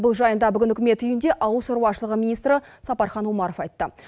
бұл жайында үкімет үйінде ауыл шаруашылығы министрі сапархан омаров айтты